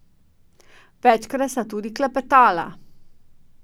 Večkrat sta tudi klepetala.